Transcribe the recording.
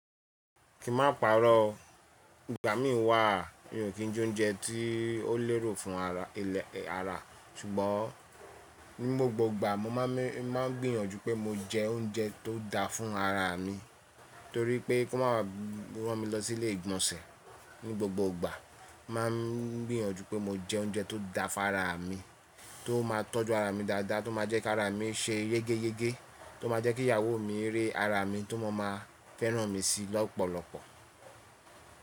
Kí ma pa'rọ́, ìgbà mí n wà mi ò kí jẹ oúnjẹ tí ó lérò fún ara ilẹ̀ ara, ṣùgbọ́n ní gbogbo ìgbà mo má a ń gbìyànjú pé mo jẹ oúnjẹ tó da fún ara mi torí pé kó má a wá rán mi lọsí ilé ìgbọ̀nsẹ̀. Ní gbogbo ìgbà má a ń gbìyànjú pé mo jẹ oúnjẹ tó da fún ara mi, tó má a tọ́jú ara mi dáadáa, tó má a jẹ́ kí ara mí ṣe yégéyégé, tó má a jẹ́ kí ìyàwó mi rí ara mi tó má a máa fẹ́ràn mi sí lọ́pọ̀lọpọ̀.